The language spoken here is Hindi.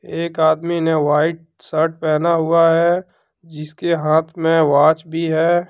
एक आदमी ने व्हाइट शर्ट पहना हुआ है जिसके हाथ में वॉच भी है।